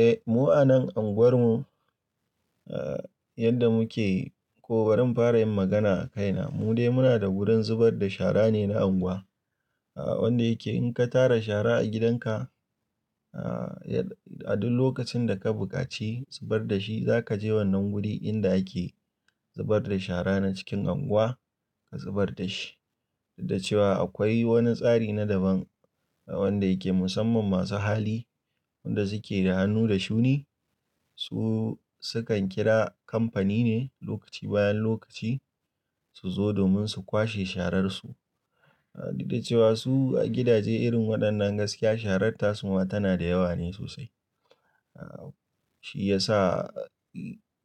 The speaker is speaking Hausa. Eh, mu a nan anguwar mu yadda muke, ko barin fara yin magana a kaina, mu dai muna da wurin zubar da shara ne na anguwa. Wanda yake in ka tara shara a gidan ka, a duk lokacin da ka buƙaci zubar da shi, za ka je wannan wuri inda ake zubar da shara na cikin anguwa ka zubar da shi. Duk da cewa akwai wani tsari na daban wanda yake musamman masu hali, wanda suke da hannu da shuni. Su sukan kira kamfani ne lokaci bayan lokaci su zo domin su kwashe shararsu. Duk da cewa su a gidaje irin waɗannan gaskiya sharar tasu ma tana da yawa ne sosai. Shi yasa